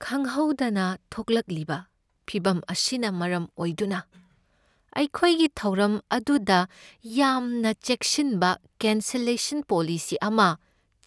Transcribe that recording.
ꯈꯪꯍꯧꯗꯅ ꯊꯣꯛꯂꯛꯂꯤꯕ ꯐꯤꯚꯝ ꯑꯁꯤꯅ ꯃꯔꯝ ꯑꯣꯏꯗꯨꯅ, ꯑꯩꯈꯣꯏꯒꯤ ꯊꯧꯔꯝ ꯑꯗꯨꯗ ꯌꯥꯝꯅ ꯆꯦꯛꯁꯤꯟꯕ ꯀꯦꯟꯁꯂꯁꯟ ꯄꯣꯂꯤꯁꯤ ꯑꯁꯤ